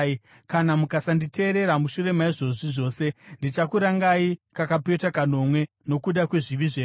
“ ‘Kana mukasanditeerera mushure maizvozvi zvose, ndichakurangai kakapetwa kanomwe nokuda kwezvivi zvenyu.